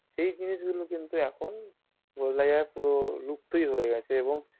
সেই জিনিস গুলো কিন্তু এখন বলা যায় পুরো লুপ্তই হয়ে গেছে এবং